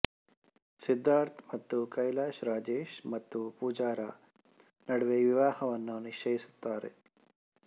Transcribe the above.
ಸಿದ್ಧಾರ್ಥ್ ಮತ್ತು ಕೈಲಾಶ್ ರಾಜೇಶ್ ಮತ್ತು ಪೂಜಾರ ನಡುವೆ ವಿವಾಹವನ್ನು ನಿಶ್ಚಯಿಸುತ್ತಾರೆ